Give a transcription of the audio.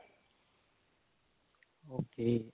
okay